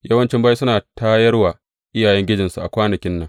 Yawancin bayi suna tayar wa iyayengijinsu a kwanakin nan.